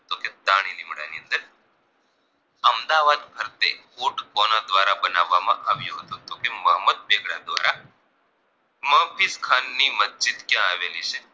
અમદાવાદ ફરતે court કોના દ્વારા બનાવામાં આવ્યો હતો તો કે મોહમ્મદ બેગડા દ્વારા મહાબિદખાન ની મસ્જિદ ક્યાં આવેલી છે